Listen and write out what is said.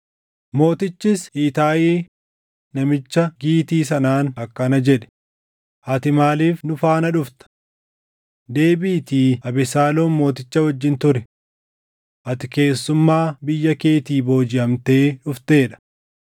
Mootichis Itaayi namicha Gitii sanaan akkana jedhe; “Ati maaliif nu faana dhufta? Deebiʼiitii Abesaaloom mooticha wajjin turi. Ati keessummaa biyya keetii boojiʼamtee dhuftee dha.